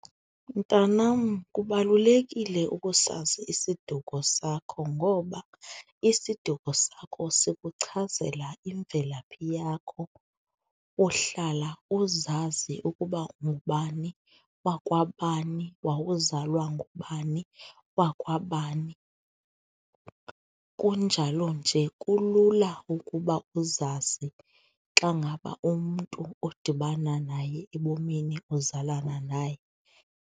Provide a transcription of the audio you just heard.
Mntanam, kubalulekile ukusazi isiduko sakho ngoba isiduko sakho sikuchazela imvelaphi yakho, uhlala uzazi ukuba ungubani wakwabani, wowuzalwa ngubani wakwabani, kunjalo nje kulula ukuba uzazi xa ngaba umntu odibana naye ebomini uzalana naye.